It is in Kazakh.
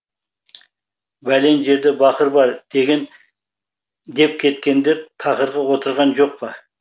бәлен жерде бақыр бар деп кеткендер тақырға отырған жоқ па